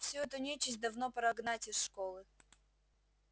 всю эту нечисть давно пора гнать из школы